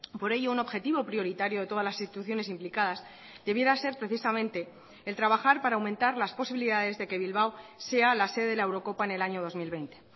por ello un objetivo prioritario de todas las instituciones implicadas debiera ser precisamente el trabajar para aumentar las posibilidades de que bilbao sea la sede de la eurocopa en el año dos mil veinte